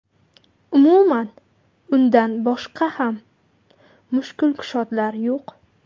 Umuman, undan boshqa ham mushkulkushodlar yo‘q.